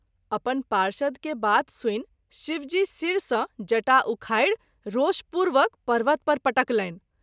अपन पार्षद के बात सुनि शिवजी शिर सँ जटा उखाड़ि रोषपूर्वक पर्वत पर पटकलनि।